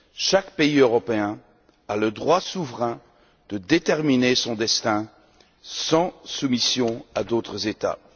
Chaque pays européen a le droit souverain de déterminer son destin sans soumission à d'autres États.